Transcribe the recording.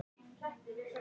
Þín Ásta Guðrún Eydal.